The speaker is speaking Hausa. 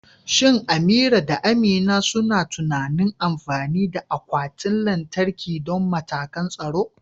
Shin Amira da Amina suna tunanin amfani da akwatin lantarki don matakan tsaro?